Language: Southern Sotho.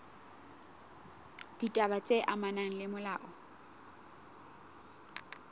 ditaba tse amanang le molao